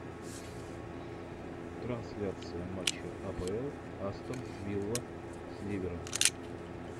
трансляция матча апл астон вилла с ливером